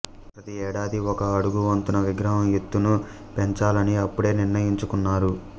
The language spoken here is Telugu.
ప్రతి ఏడాదీ ఒక అడుగు వంతున విగ్రహం ఎత్తును పెంచాలని అప్పుడే నిర్ణయించుకున్నారు